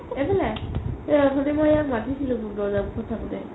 এইফালে অথনি ইয়াক মই মাতিছিলো দৰ্যা মুখত থকোতে